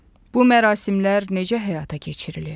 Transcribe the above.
Bu mərasimlər necə həyata keçirilir?